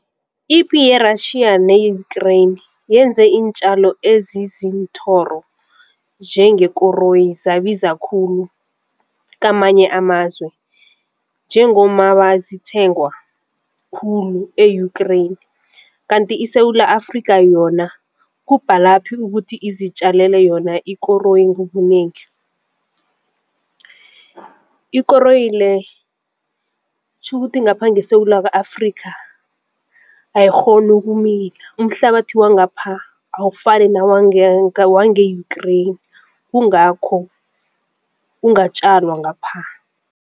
Ipi ye-Russia ne-Ukrain yenze iintjalo ezizinthoro njengekoroyi zabiza khulu kamanye amazwe njengomaba zithengwa khulu e-Ukrain. Kanti iSewula Afrika yona kubhalaphi ukuthi izitjalele yona ikoroyi ngobunengi. Ikoroyi le tjhukuthi ngapha ngeSewula Afrika ayikghoni ukumila umhlabathi wangapha awufani newange-Ukrain kungakho kungatjalwa ngapha.